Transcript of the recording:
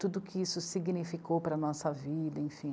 Tudo que isso significou para a nossa vida, enfim.